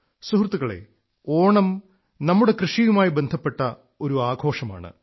സുഹൃത്തുക്കളേ ഓണം നമ്മുടെ കൃഷിയുമായി ബന്ധപ്പെട്ട ഒരു ആഘോഷമാണ്